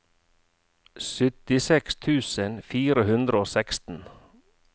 syttiseks tusen fire hundre og seksten